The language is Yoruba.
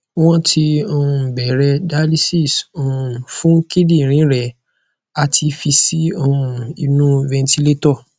won ti um bere dialysis um fun kidinrin re ati fi si um inu ventilator